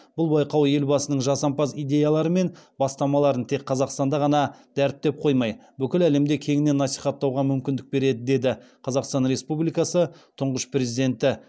бұл байқау елбасының жасампаз идеялары мен бастамаларын тек қазақстанда ғана дәріптеп қоймай бүкіл әлемде кеңінен насихаттауға мүмкіндік береді деді қазақстан республикасы тұңғыш президенті